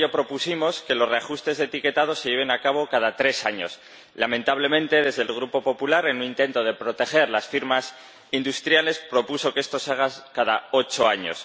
Por ello propusimos que los reajustes del etiquetado se lleven a cabo cada tres años. Lamentablemente, el Grupo Popular, en un intento de proteger a las firmas industriales, propuso que esto se haga cada ocho años.